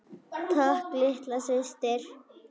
Takk litla systir.